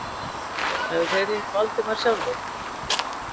Hefðu þeir hitt Valdimar sjálfir?